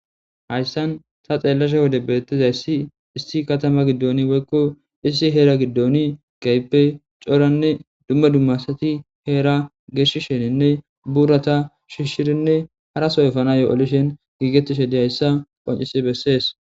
Hayssan ta xeellashe wode bettizayssi isti katama giddooni woykko issi heera giddooni gayppe cooranne dumma dummasati heera geeshi sheninne buurata shishshirinne harasoyfana yo7olishen giigettishe diyayssa qoncisi bessees.